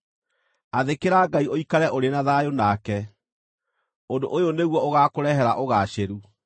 “Athĩkĩra Ngai ũikare ũrĩ na thayũ nake, ũndũ ũyũ nĩguo ũgaakũrehere ũgaacĩru.